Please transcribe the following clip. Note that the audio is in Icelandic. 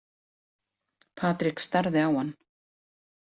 Patrik starði á hann.